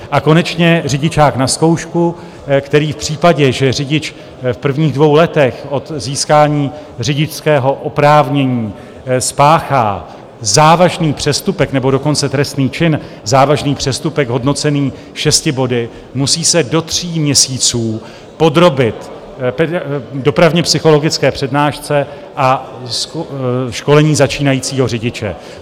A konečně řidičák na zkoušku, který v případě, že řidič v prvních dvou letech od získání řidičského oprávnění spáchá závažný přestupek, nebo dokonce trestný čin, závažný přestupek hodnocený šesti body, musí se do tří měsíců podrobit dopravně psychologické přednášce a školení začínajícího řidiče.